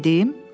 Gedim?